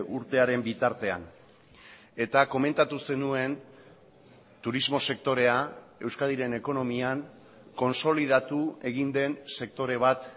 urtearen bitartean eta komentatu zenuen turismo sektorea euskadiren ekonomian konsolidatu egin den sektore bat